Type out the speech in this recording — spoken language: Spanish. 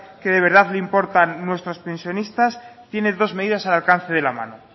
que de verdad le importan nuestros pensionistas tiene dos medidas al alcance de la mano